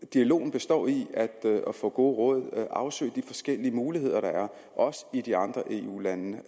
dialogen består i at få gode råd og afsøge de forskellige muligheder der er også i de andre eu lande